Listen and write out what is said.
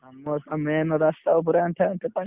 ଆମର ତ main ରାସ୍ତା ଉପରେ ଆଣ୍ଠେ ଆଣ୍ଠେ ପାଣି।